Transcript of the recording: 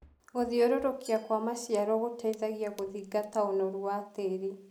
Gũthiũrũrũkia kwa maciaro gũteithagia gũthingata ũnoru wa tĩrĩ.